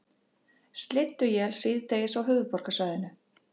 Slydduél síðdegis á höfuðborgarsvæðinu